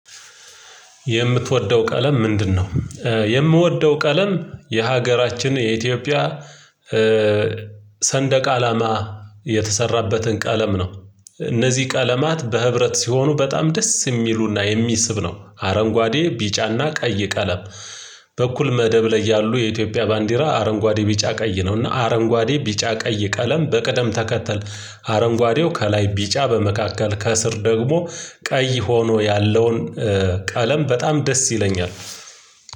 የምትወደው ቀለም ምንድነው? የምወደው ቀለም የሀገራችን የኢትዮጵያ ሰንደቅ አላማ የተሰራበትን ቀለም ነው እነዚህ ቀለማት በህብረት ሲሆኑ በጣም ደስ የሚሉና የሚስብ ነው። አረንጓዴ ቢጫና ቀይ ቀለም በኩል መደብ ላይ ያሉ የኢትዮጵያ ባንዲራ አረንጓዴ ቢጫ ቀይ ነውና አረንጓዴ ቢጫ ቀይ ቀለም በቅደም ተከተል አረንጓዴው ከላይ ቢጫ በመካከል ከስር ደግሞ ቀይ ሆኖ ያለውን። ቀለም በጣም ደስ ይለኛል።